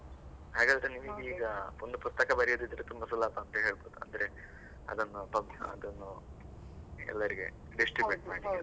ಹಾಗಾದ್ರೆ ನಿಮಗೆ ಈಗ ಒಂದು ಪುಸ್ತಕ ಬರಿಯುವುದುದಿದ್ರೆ ತುಂಬಾ ಸುಲಭ ಅಂತ ಹೇಳಬಹುದು, ಅಂದ್ರೆ ಅದನ್ನು ಅದನ್ನು ಎಲ್ಲರಿಗೆ distribute .